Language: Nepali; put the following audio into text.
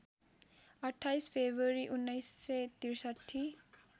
२८ फेब्रुवरी १९६३